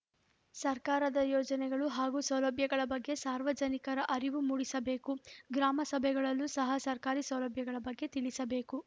ಸರ್ಕಾರದ ಯೋಜನೆಗಳು ಹಾಗೂ ಸೌಲಭ್ಯಗಳ ಬಗ್ಗೆ ಸಾರ್ವಜನಿಕರಿಗೆ ಅರಿವು ಮೂಡಿಸಬೇಕು ಗ್ರಾಮ ಸಭೆಗಳಲ್ಲೂ ಸಹ ಸರ್ಕಾರಿ ಸೌಲಭ್ಯಗಳ ಬಗ್ಗೆ ತಿಳಿಸಬೇಕು